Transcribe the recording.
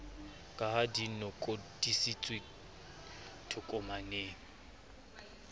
ka ha di lokodisitswe tokomaneng